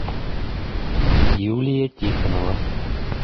юлия тихонова